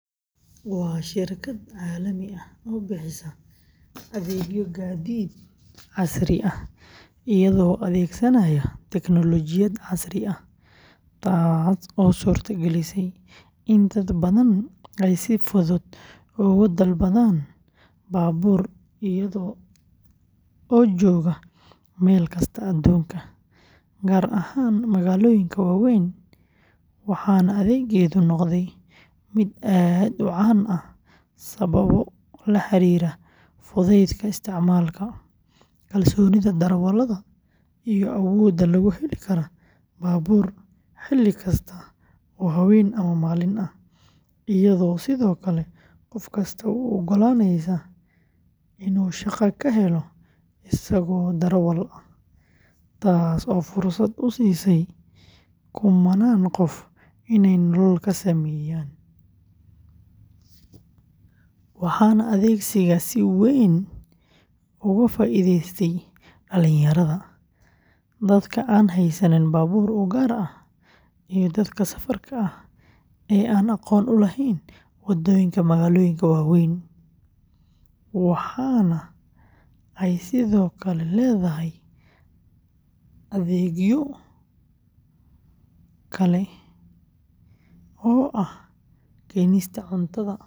Waa shirkad caalami ah oo bixisa adeegyo gaadiid casri ah iyadoo adeegsanaysa teknoolojiyad casri ah, taas oo suurtagelisay in dad badan ay si fudud ugu dalbadaan baabuur iyaga oo jooga meel kasta aduunka, gaar ahaan magaalooyinka waaweyn, waxaana adeeggeedu noqday mid aad u caan ah sababo la xiriira fudaydka isticmaalka, kalsoonida darawallada, iyo awoodda lagu heli karo baabuur xilli kasta oo habeen ama maalin ah, iyadoo sidoo kale qof kasta u oggolaanaysa inuu shaqo ka helo isagoo darawal ah, taas oo fursad u siisay kumannaan qof inay nolol ka sameeyaan, waxaana adeegsiga si weyn uga faa’iidaystay dhalinyarada, dadka aan haysan baabuur u gaar ah, iyo dadka safarka ah ee aan aqoon u lahayn waddooyinka magaalooyinka waaweyn, waxaana ay sidoo kale leedahay adeegyo kale.